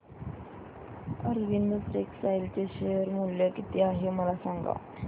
Arvind textile चे share मूल्य किती आहे मला सांगा